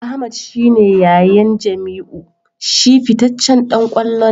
Ahmed shi ne yayan Jamiu; shi fitaccen dan kwallo ne.